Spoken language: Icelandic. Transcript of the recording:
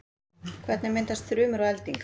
hvernig myndast þrumur og eldingar